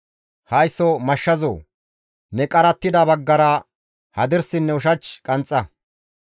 Haysso mashshazoo! Ne qarattida baggara hadirsinne ushach qanxxa.